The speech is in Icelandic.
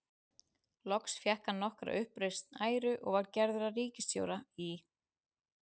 Loks fékk hann nokkra uppreisn æru og var gerður að ríkisstjóra í